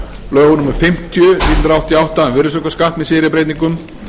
lögum númer fimmtíu nítján hundruð áttatíu og átta um virðisaukaskatt með síðari breytingum